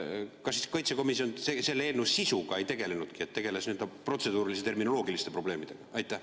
Kas riigikaitsekomisjon selle eelnõu sisuga ei tegelnudki, vaid tegeles protseduuriliste, terminoloogiliste probleemidega?